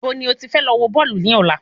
Ibo ni o ti fẹ lọ wọ Bọ́ọ̀lù ní ọ̀la?